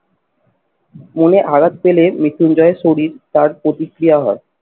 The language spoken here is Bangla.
মনে আঘাত পেলে মৃত্যুঞ্জয়ের শরীর তার প্রতিক্রিয়া হয়